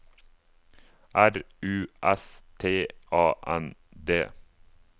R U S T A N D